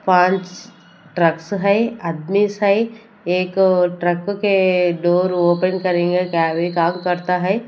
पांच ट्रक्स है आदमी है एक ट्रक के डोर ओपन करेंगे क्या भी काम करता है।